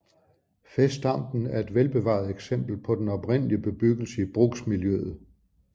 Fæstampen er et velbevaret eksempel på den oprindelige bebyggelse i bruksmiljøet